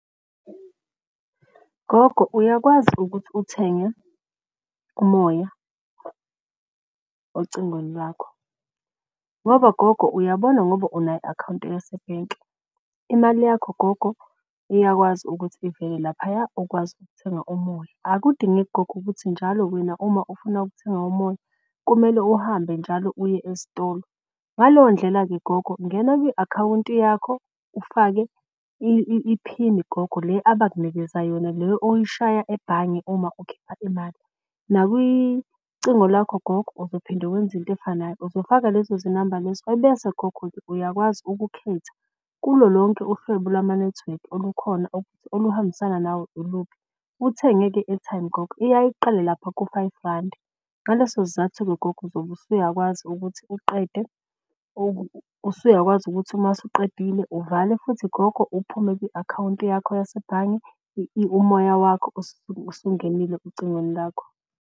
Gogo, uyakwazi ukuthi uthenge umoya ocingweni lakho ngoba gogo uyabona ngoba unayo i-akhawunti yasebhenki. Imali yakho gogo iyakwazi ukuthi ivele laphaya ukwazi ukuthenga umoya. Akudingeki gogo ukuthi njalo wena uma ufuna ukuthenga umoya kumele uhambe njalo uye ezitolo. Ngaleyo ndlela-ke gogo ungena kwi-akhawunti yakho ufake iphini gogo le abakunikeza yona. Le oyishaya ebhange uma ukhipha imali nakwicingo lakho gogo uzophinde wenze into efanayo. Uzofaka lezo zinamba lezo ebese gogo uyakwazi ukukhetha kulo lonke uhlobo lwama nethiwekhi olukhona oluhambisana nawo iluphi. Uthenge-ke i-airtime gogo, iyaye iqale lapha ku-five randi. Ngaleso sizathu-ke gogo zobe usuyakwazi ukuthi uqede usuyakwazi ukuthi uma usuqedile uvale futhi gogo uphume kwi-akhawunti yakho yasebhange. Umoya wakho usungenile ocingweni lakho.